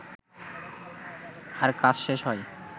আর কাজ শেষ হয়